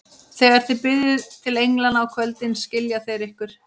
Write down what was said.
Þegar þið biðjið til englanna á kvöldin, skilja þeir ykkur.